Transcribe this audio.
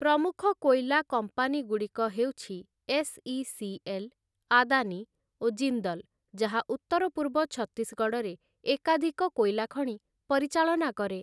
ପ୍ରମୁଖ କୋଇଲା କମ୍ପାନୀଗୁଡ଼ିକ ହେଉଛି ଏସ୍‌.ଇ.ସି.ଏଲ୍‌., ଆଦାନୀ ଓ ଜିନ୍ଦଲ ଯାହା ଉତ୍ତର ପୂର୍ବ ଛତିଶଗଡ଼ରେ ଏକାଧିକ କୋଇଲା ଖଣି ପରିଚାଳନା କରେ ।